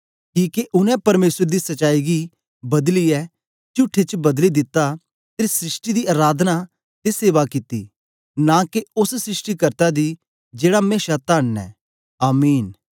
किके उनै परमेसर दी सच्चाई गी बदलीयै चुठे च बदली दित्ता ते सृष्टि दी अराधना ते सेवा कित्ती नां के ओस सृष्टिकर्त्ता दी जेड़ा मेशा तन्न ऐ आमीन